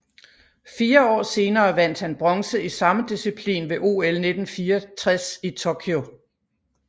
Fire år senere vandt han bronze i samme disciplin ved OL 1964 i Tokyo